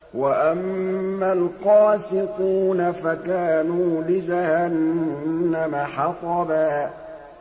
وَأَمَّا الْقَاسِطُونَ فَكَانُوا لِجَهَنَّمَ حَطَبًا